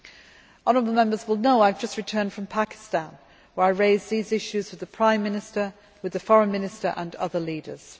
Honourable Members will know that I have just returned from Pakistan, where I raised these issues with the Prime Minister, the Foreign Minister and other leaders.